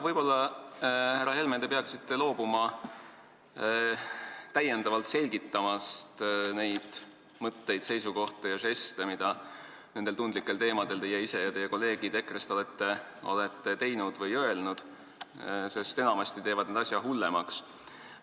Võib-olla, härra Helme, te peaksite loobuma täiendavalt selgitamast neid mõtteid, seisukohti ja žeste, mida neid tundlikke teemasid käsitledes olete teie ise ja on teie kolleegid EKRE-st väljendanud või kasutanud, sest enamasti teevad need selgitused asja hullemaks.